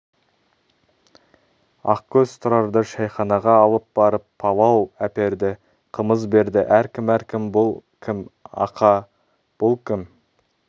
ақкөз тұрарды шәйханаға алып барып палау әперді қымыз берді әркім әркім бұл кім ақа бұл кім